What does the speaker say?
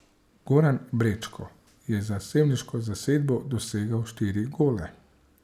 Goran Brečko je za sevniško zasedbo dosegel štiri gole.